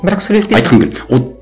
бірақ сөйлеспейсің айтқым келеді